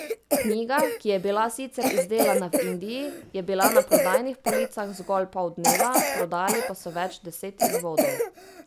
Knjiga, ki je bila sicer izdelana v Indiji, je bila na prodajnih policah zgolj pol dneva, prodali pa so več deset izvodov.